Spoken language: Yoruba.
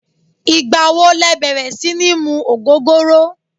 Igba wo lẹ bẹrẹ si ni mu ogogoro?